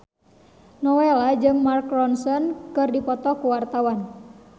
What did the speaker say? Nowela jeung Mark Ronson keur dipoto ku wartawan